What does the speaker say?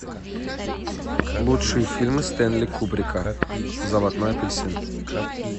лучшие фильмы стэнли кубрика заводной апельсин